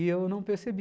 E eu não percebi.